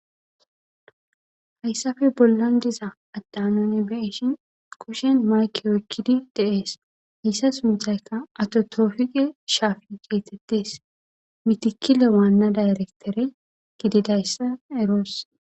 hayssafe bollan diza addanoni beishin koshen mayke oykkidi deees hayssa suntaykka atotoofige shaafi geetettes mitikile waanna dayrektere gididayssa eroos